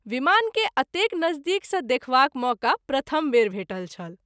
विमान के अतेक नज़दीक सँ देखवाक मौका प्रथम बेर भेटल छल।